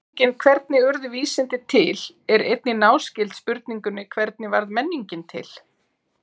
Spurningin hvernig urðu vísindi til er einnig náskyld spurningunni hvernig varð menningin til?